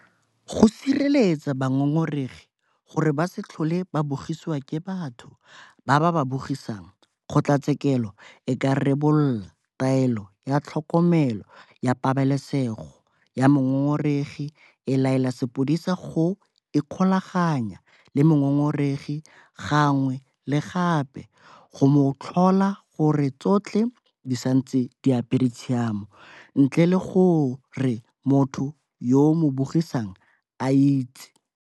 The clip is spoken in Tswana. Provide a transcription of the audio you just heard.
Go sireletsa bangongoregi gore ba se tlhole ba bogisiwa ke batho ba ba ba bogisang, kgotlatshekelo e ka rebola Taelo ya Tlhokomelo ya Pabalesego ya Mongongoregi e e laelang sepodisi go ikgolaganya le mongongoregi gangwe le gape go mo tlhola gore tsotlhe di santse di apere tshiamo ntle le gore motho yo a mo bogisang a itse.